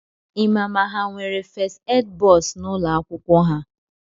Ịma ma ha nwere fest ed bọs n’ụlọakwụkwọ ha?